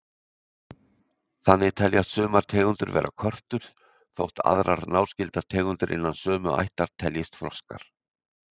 Þannig teljast sumar tegundir vera körtur þótt aðrar náskyldar tegundir innan sömu ættar teljist froskar.